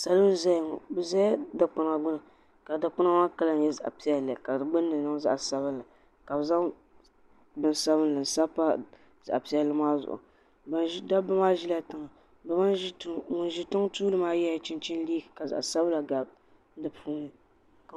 Salo n zaya ŋɔ bɛ zami dikpina gbini ka dikpina maa kala nyɛ zaɣa piɛlli ka di gbinni niŋ zaɣa sabinli ka bɛ zaŋ bini sabinli n sabi pa zaɣa piɛlli maa zuɣu dabba maa ʒila tiŋa ŋun ʒi tiŋa tuuli maa yela chinchini liiga ka zaɣa sabila gabi ka